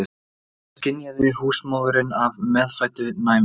Þetta skynjaði húsmóðirin af meðfæddu næmi.